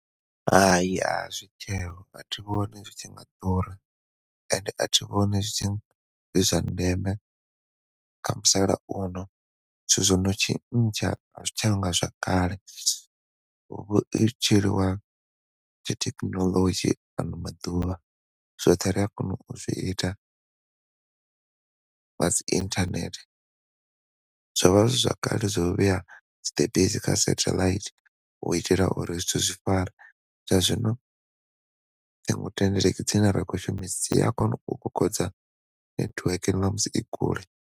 Hai, azwi tsheho a thi vhoni zwi tshi nga ḓura ende a thi vhoni zwi zwa ndeme kha musalauno zwithu zwono tshintsha a zwi tshanga zwa kale hu vho tou tshiliwa tshi thekhinolodzhi ano maḓuvha zwoṱhe ri a kona u zwi ita nga dzi internet zwo vha zwi zwakale zwo vhea tshiṱepisi kha sathelaithi u itela uri zwithu zwi fare zwa zwino dzine ra khou shumisa dzi a kona u kokodza network na musi i kule.